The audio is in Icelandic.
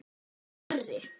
Nú var hann orðinn stærri.